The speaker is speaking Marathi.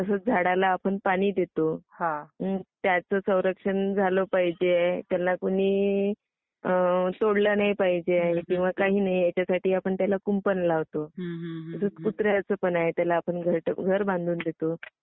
तसंच झाडाला आपण पाणी देतो. त्याचं संरक्षण झाल पाहिजे. त्यांना कुणी तोडलं नाही पाहिजे. किंवा काही नाही यासाठी आपण त्याला कुंपण लावतो . आता कुत्र्याचं पण आहे. आपण त्याला घर बांधून देतो.